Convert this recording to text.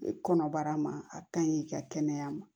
Kɔnɔbara ma a kaɲi i ka kɛnɛya ma